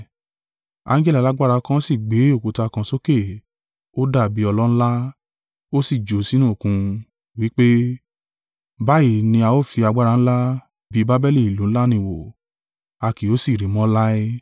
Angẹli alágbára kan sì gbé òkúta kan sókè, ó dàbí ọlọ ńlá, ó sì jù ú sínú Òkun, wí pé: “Báyìí ní a ó fi agbára ńlá bí i Babeli ìlú ńlá ni wó, a kì yóò sì rí i mọ́ láé.